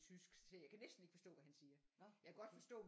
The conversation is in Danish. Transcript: Tysk jeg kan næsten ikke forstå hvad han siger jeg kan godt forstå